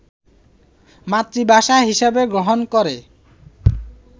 মাতৃভাষা হিসেবে গ্রহণ করে